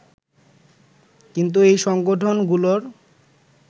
কিন্তু এই সংগঠনগুলোর